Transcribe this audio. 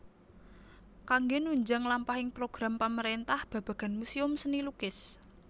Kanggé nunjang lampahing program pamarentah babagan muséum seni lukis